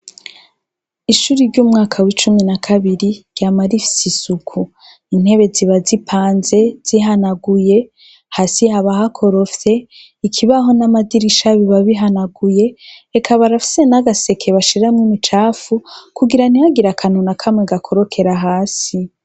Ishure ryumwaka w'ishure wa cumi na kabiri ryama rifise isuku, intebe ziba zipanze zihanaguye, ikibaho n'amadirisha biba bihanaguye, eka barafise n'agaseke bashiramwo ubucafu kugira ntihagire akantu na kamwe gakorokera hasi.